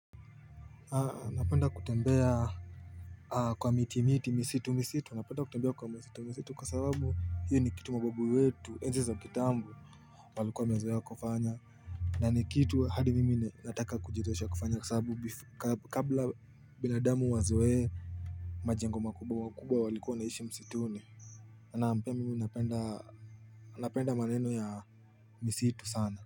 Napenda kutembea kwa miti miti misitu misitu napenda kutembea kwa misitu misitu kwa sababu hiyo ni kitu mababu wetu enzi za kitambo walikuwa wamezoea kufanya na ni kitu hadi mimi nataka kujizoesha kufanya kwa sababu kabla bila binadamu wazoee majengo makubwa makubwa walikuwa wanaishi msituni naam pia mimi napenda napenda maneno ya misitu sana.